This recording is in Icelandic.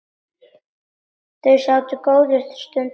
Þau sátu góða stund þögul.